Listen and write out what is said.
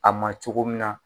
A ma cogo min na,